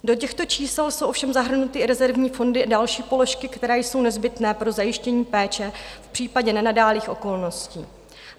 Do těchto čísel jsou ovšem zahrnuty i rezervní fondy a další položky, které jsou nezbytné pro zajištění péče v případě nenadálých okolností.